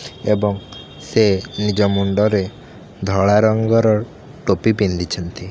ଏବଂ ସେ ନିଜ ମୁଣ୍ଡରେ ଧଳା ରଙ୍ଗର ଟୋପି ପିନ୍ଧିଛନ୍ତି।